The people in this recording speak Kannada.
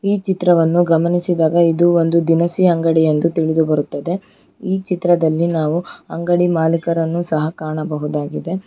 ಈ ಚಿತ್ರವನ್ನು ಗಮನಿಸಿದಾಗ ಇದು ಒಂದು ದಿನಸಿ ಅಂಗಡಿ ಎಂದು ತಿಳಿದುಬರುತ್ತದೆ ಈ ಚಿತ್ರದಲ್ಲಿ ನಾವು ಅಂಗಡಿ ಮಾಲಿಕರನ್ನು ಸಹ ಕಾಣಬಹುದಾಗಿದೆ.